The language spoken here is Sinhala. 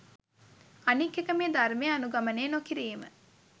අනික් එක මේ ධර්මය අනුගමනය නොකිරීම